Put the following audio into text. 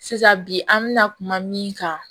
Sisan bi an bɛna kuma min kan